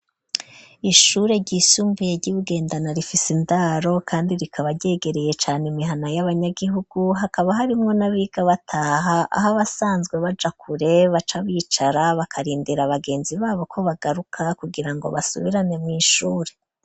Ishure ryisumbuye ryi Bugendana rifise indaro kandi rikaba ryegereye cane imihana y'abanyagihugu hakaba harimwo na biga bataha aho abasanzwe bajakure baca bicara bakarindera bagenzi babo ko bagaruka kugira ngo basubirane mw'ishure